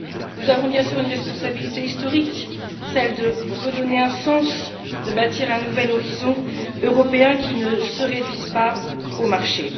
Nous avons, bien sûr, une responsabilité historique, celle de redonner un sens, de bâtir un nouvel horizon européen qui ne se réduise pas au marché.